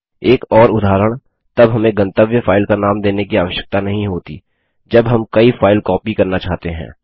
एक और उदाहरण तब हमें गंतव्य फाइल का नाम देने की आवश्यकता नहीं होती जब हम कई फाइल कॉपी करना चाहते हैं